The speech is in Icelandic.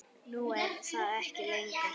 Nú er það ekki lengur.